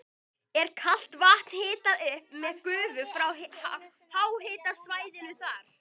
Er kalt vatn hitað upp með gufu frá háhitasvæðinu þar.